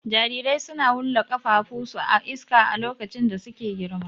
Jarirai suna wulla ƙafafun su a iska a lokacin da suke girma.